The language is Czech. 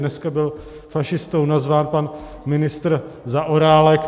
Dneska byl fašistou nazván pan ministr Zaorálek.